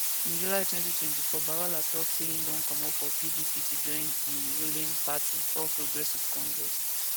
in july 2024 bwala tok say im don comot from pdp to go join di rulling party all progressives congress